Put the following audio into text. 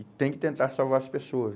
E tem que tentar salvar as pessoas.